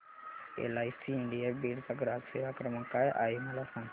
LIC India Beed चा ग्राहक सेवा क्रमांक काय आहे मला सांग